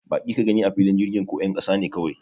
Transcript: Baki ka gani a filin jirgin ko 'yan kasa ne kawai?